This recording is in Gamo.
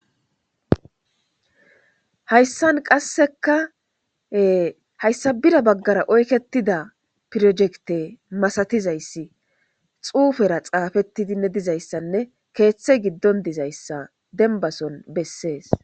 Hayisan qaseka hayisa bira oyiketida pirojekite masatizayis xupera xapetidine dizayisa kethi gidon dizayisa denibason beses